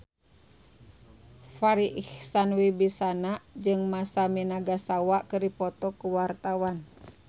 Farri Icksan Wibisana jeung Masami Nagasawa keur dipoto ku wartawan